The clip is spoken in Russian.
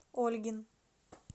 ольгин